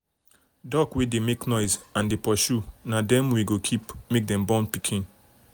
duck wey dey make noise and dey pursue na them we go keep make them born pikin.